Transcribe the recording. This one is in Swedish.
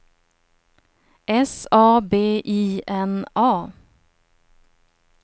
S A B I N A